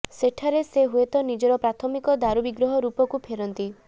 ସେଠାରେ ସେ ହୁଏତ ନିଜର ପ୍ରାଥମିକ ଦାରୁ ବିଗ୍ରହ ରୂପକୁ ଫେରନ୍ତି